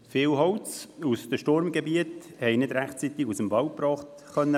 Viel Holz aus den Sturmgebieten konnte nicht rechtzeitig aus dem Wald gebracht werden.